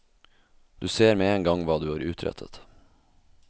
Du ser med en gang hva du har utrettet.